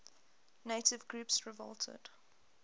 native groups revolted